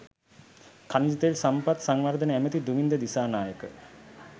ඛනිජ තෙල් සම්පත් සංවර්ධන ඇමැති දුමින්ද දිසානායක